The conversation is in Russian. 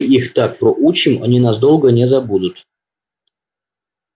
их так проучим они нас долго не забудут